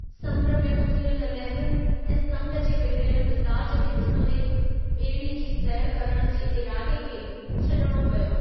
समुंड में उथियल लहरुनि ऐं समुंड जे बिगिड़यलु मिज़ाज खे डि॒संदे ॿेड़ीअ जी सैरु करणु जे इरादे खे छडि॒णो पियो।